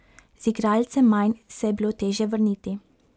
Z igralcem manj se je bilo težje vrniti.